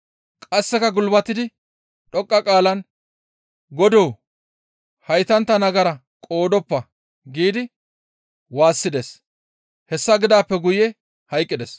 Qasseka gulbatidi dhoqqa qaalan «Godoo! Haytantta nagara qoodoppa» giidi waassides; hessa gidaappe guye hayqqides.